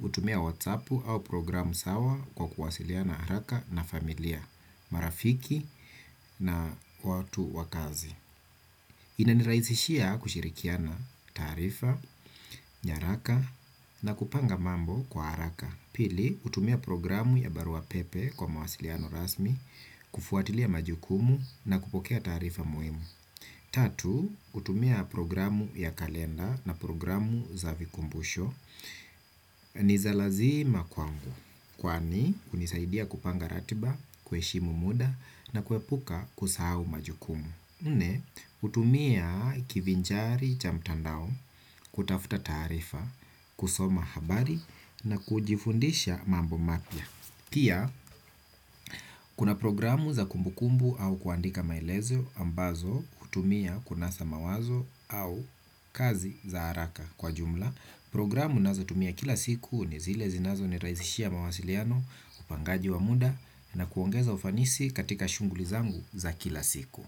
utumia whatsappu au programu sawa kwa kuwasiliana haraka na familia, marafiki na watu wa kazi. Inaniraisishia kushirikiana taarifa, nyaraka na kupanga mambo kwa haraka. Pili, utumia programu ya barua pepe kwa mawasiliano rasmi, kufuatilia majukumu na kupokea taarifa muhimu. Tatu, utumia programu ya kalenda na programu za vikumbusho. Niza lazima kwangu. Kwani, hunisaidia kupanga ratiba, kuheshimu mda na kuepuka kusahahu majukumu. Nne, utumia kivinjari cha mtandao, kutafuta taarifa, kusoma habari na kujifundisha mambo mapya. Pia, kuna programu za kumbukumbu au kuandika maelezo ambazo hutumia kunasa mawazo au kazi za haraka kwa jumla. Programu ninazo tumia kila siku ni zile zinazo ni rahisishia mawasiliano upangaji wa mda na kuongeza ufanisi katika shughuli zangu za kila siku.